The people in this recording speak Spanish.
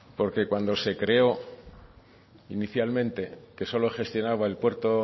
porque cuando se creó inicialmente que solo gestionaba el puerto